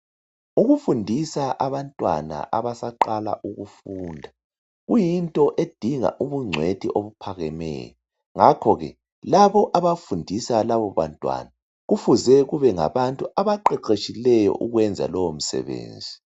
Ukufundisa abantwana abasaqala ukufunda , kuyinto edinga ubugcwethu obuphakemeyo. Ngakhoke labo labo abafundisa labo bantwana, kufuze kube ngabantu abaqeqetshileyo ukwenza lo msebenzi.